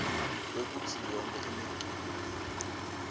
kwekutsi yonkhe imiculu